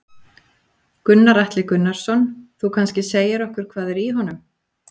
Gunnar Atli Gunnarsson: Þú kannski segir okkur hvað er í honum?